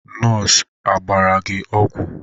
Nọọsụ a gbara gị ọgwụ?